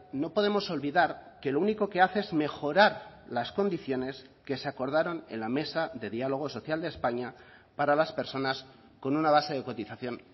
no podemos olvidar que lo único que hace es mejorar las condiciones que se acordaron en la mesa de diálogo social de españa para las personas con una base de cotización